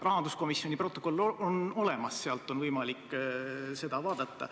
Rahanduskomisjoni protokoll on olemas, sealt on võimalik seda vaadata.